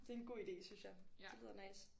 Det er en god ide synes jeg det lyder nice